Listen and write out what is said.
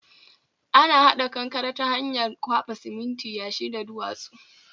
Ana hada kankare ta hanyar kwaba siminti, yashi da duwatsu